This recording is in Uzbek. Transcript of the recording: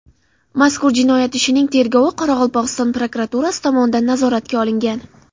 Mazkur jinoyat ishining tergovi Qoraqalpog‘iston prokuraturasi tomonidan nazoratga olingan.